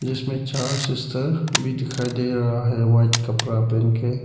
जीसमें चार सिस्टर भी दिखाई दे रहा हैं व्हाइट कपड़ा पहन के।